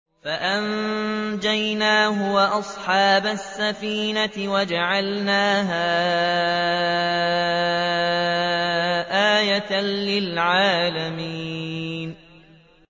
فَأَنجَيْنَاهُ وَأَصْحَابَ السَّفِينَةِ وَجَعَلْنَاهَا آيَةً لِّلْعَالَمِينَ